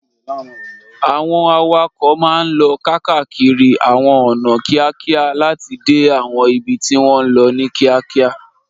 Àwọn awakọ̀ máa ń lọ káàkiri àwọn ọ̀nà kíákíá láti dé àwọn ibi tí wọ́n ń lọ ní kíákíá.